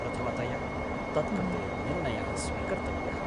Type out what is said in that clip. प्रथमतया तत्कृते निर्णयः स्वीकर्तव्यः।